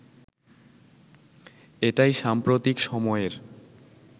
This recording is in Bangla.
এটাই সাম্প্রতিক সময়ের